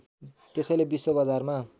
त्यसैले विश्व बजारमा